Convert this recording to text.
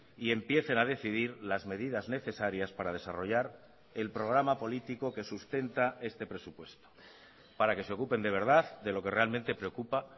y empiecen a decidir las medidas necesarias para desarrollar el programa político que sustenta este presupuesto para que se ocupen de verdad de lo que realmente preocupa